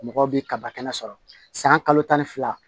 Mɔgɔw bɛ kaba kɛnɛ sɔrɔ san kalo tan ni fila